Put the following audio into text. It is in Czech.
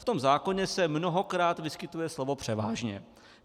V tom zákoně se mnohokrát vyskytuje slovo převážně.